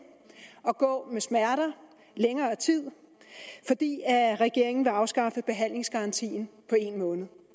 og gå med smerter i længere tid fordi regeringen vil afskaffe behandlingsgarantien på en måned